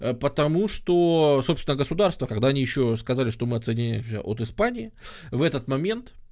потому что собственно государство когда они ещё сказали что мы отсоединяемся от испании в этот момент